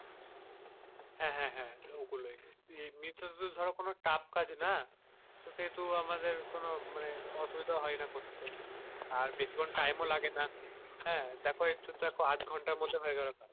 হ্যাঁ হাঁ হ্যাঁ ওগুলোই এমনিতে তো ধরো tough কাজ না তো সেহেতু আমাদের কোনো মানে অসুবিধা হয় না করতে আর বেশিক্ষন time ও লাগে না দেখো হাঁ দেখো একটু আধঘন্টার মধ্যে হয়ে গেলো কাজ,